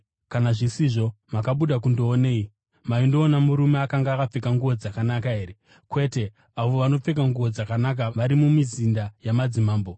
Kana zvisizvo, makabuda kundoonei? Maindoona murume akanga akapfeka nguo dzakanaka here? Kwete, avo vanopfeka nguo dzakanaka vari mumizinda yamadzimambo.